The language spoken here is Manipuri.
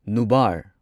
ꯅꯨꯕꯥꯔ